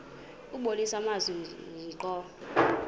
kubonisa amazwi ngqo